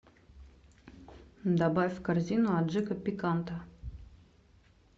добавь в корзину аджика пиканта